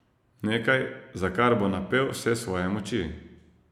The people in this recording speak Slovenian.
Nekaj, za kar bo napel vse svoje moči.